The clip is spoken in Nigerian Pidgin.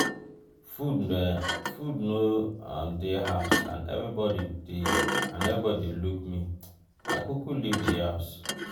food no um dey house and everybody dey and everybody dey look me i kuku leave di house.